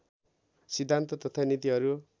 सिद्धान्त तथा नीतिहरू